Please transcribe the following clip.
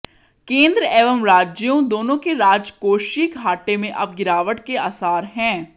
केंद्र एवं राज्यों दोनों के राजकोषीय घाटे में अब गिरावट के आसार हैं